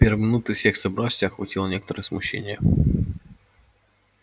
в первые минуты всех собравшихся охватило некоторое смущение